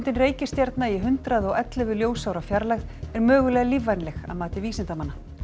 reikistjarna í hundrað og ellefu ljósaára fjarlægð er mögulega lífvænleg að mati vísindamanna